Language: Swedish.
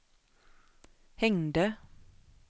hängde